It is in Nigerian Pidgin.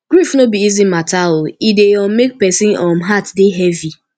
grief no be easy mata o e dey um make person um heart dey heavy